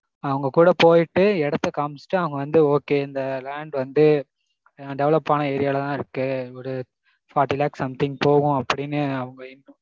அவங்க கூட போய்ட்டு எடத்த காமிச்சிட்டு அவங்க வந்து okay இந்த land வந்து develop ஆன area லதா இருக்கு ஒரு forty lakhs something போகும் அப்படீனு அவங்க